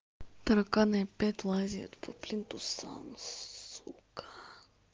тараканы опять лазят по плинтусам сука